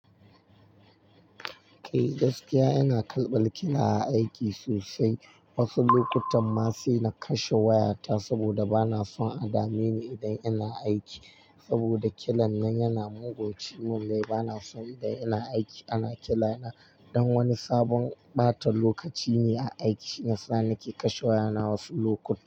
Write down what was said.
Kai gaskiya ina kalba kina aiki sosai, wasu lokutan ma sai na kashe wayata saboda bana son a dame ni idan ina aiki. Saboda kiran nan yana mugun ciwon ne, bana son idan ina aiki ana kirana. Dan wani sabon ɓata lokaci ne a aiki, nasa nake kashe wayana wasu lokuta.